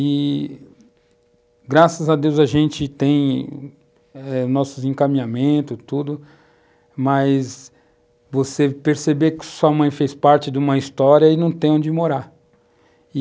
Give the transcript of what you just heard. E, graças a Deus, a gente tem nossos eh encaminhamentos, tudo, mas você perceber que sua mãe fez parte de uma história e não tem onde morar.